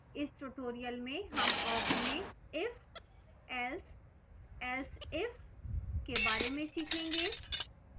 इस tutorial में हम awk में if else else if के बारे में सीखेंगे